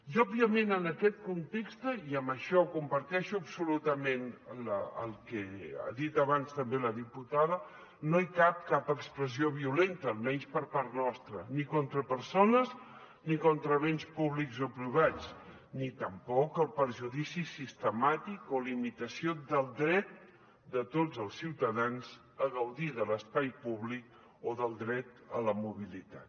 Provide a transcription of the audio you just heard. i òbviament en aquest context i en això comparteixo absolutament el que ha dit abans també la diputada no hi cap cap expressió violenta almenys per part nostra ni contra persones ni contra béns públics o privats ni tampoc el perjudici sistemàtic o limitació del dret de tots els ciutadans a gaudir de l’espai públic o del dret a la mobilitat